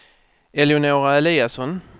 Eleonora Eliasson